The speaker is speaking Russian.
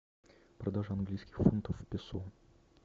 продажа английских фунтов в песо